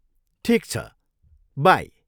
ठिक छ, बाई!